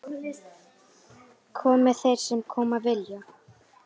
Komi þeir sem koma vilja.